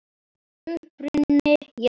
Uppruni jarðar